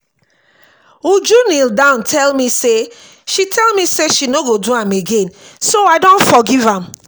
uju kneel down tell me say she me say she no go do am again so i don forgive am